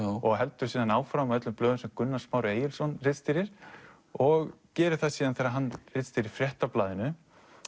og heldur áfram á öllum blöðum sem Gunnar Smári Egilsson ritstýrir og gerir það síðan þegar hann ritstýrir Fréttablaðinu